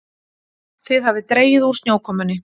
Það hafði dregið úr snjókomunni.